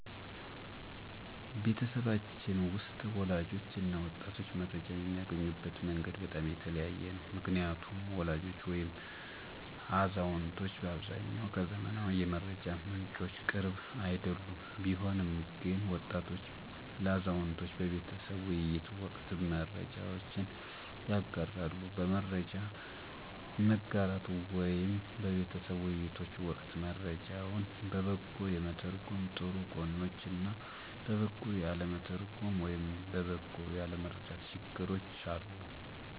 ቤተሰባችን ውስጥ ወላጆች እና ወጣቶች መረጃ የሚያገኙበት መንገድ በጣም የተለያየ ነው። ምክንያቱም ወላጆች ወይም አዛውንቶች በአብዛኛው ከዘመናዊ የመረጃ ምንጮች ቅርብ አይደሉም። ቢሆንም ግን ወጣቶች ለአዛውንቶች በቤተሰብ ውይይት ወቅት መረጃዎችን ያጋራሉ። በመረጃ መጋራት ወይም በቤተሰብ ውይይቶች ወቅት መረጃውን በበጎ የመተርጎም ጥሩ ጎኖች እና በበጎ ያለመተርጎም ወይም በበጎ ያለመረዳት ችግሮች አሉ።